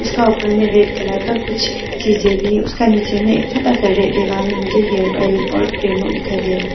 ऊपर में red colour का कुछ चीज भी है उसका नीचे में एक छोटा सा रेड कलर का मुझे हेयर ऑयल और क्रीम दिखाई दे--